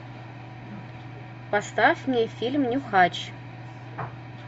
поставь мне фильм нюхач